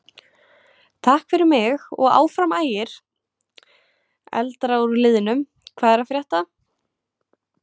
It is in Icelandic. Takk fyrir mig og Áfram Ægir.Eldra úr liðnum Hvað er að frétta?